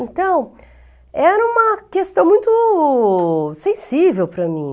Então, era uma questão muito sensível para mim.